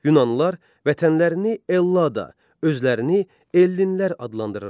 Yunanlılar vətənlərini Ellada, özlərini Ellinlər adlandırırdılar.